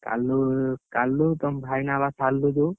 କାଲୁ, କାଲୁ ତମ ଭାଇ ନାଁ ଶାଲୁ ଯୋଉ?